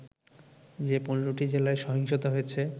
যে ১৫টি জেলায় সহিংসতা হয়েছে